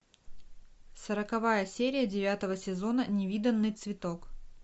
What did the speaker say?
сороковая серия девятого сезона невиданный цветок